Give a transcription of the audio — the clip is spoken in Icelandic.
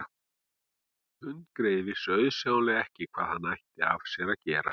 Hundgreyið vissi auðsjáanlega ekkert hvað hann ætti af sér að gera.